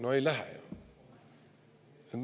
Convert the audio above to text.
No ei lähe ju.